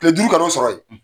Kile duuru kan'o sɔrɔ ye.